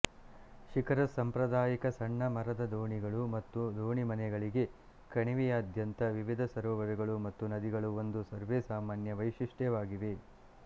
ಶಿಕರಸ್ ಸಾಂಪ್ರದಾಯಿಕ ಸಣ್ಣ ಮರದ ದೋಣಿಗಳು ಮತ್ತು ದೋಣಿಮನೆಗಳಿಗೆ ಕಣಿವೆಯಾದ್ಯಂತ ವಿವಿಧ ಸರೋವರಗಳು ಮತ್ತು ನದಿಗಳು ಒಂದು ಸರ್ವೇಸಾಮಾನ್ಯ ವೈಶಿಷ್ಟ್ಯವಾಗಿವೆ